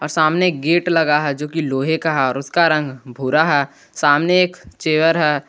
और सामने एक गेट लगा है जो कि लोहे का है और उसका रंग भूरा है सामने एक चेयर है।